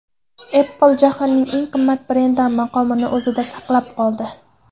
Apple jahonning eng qimmat brendi maqomini o‘zida saqlab qoldi.